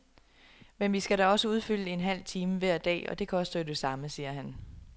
Men vi skal da også udfylde en halv time hver dag, og det koster jo det samme, siger han.